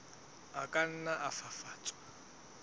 a ka nna a fafatswa